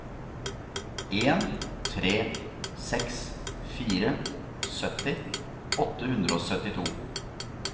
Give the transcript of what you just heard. en tre seks fire sytti åtte hundre og syttito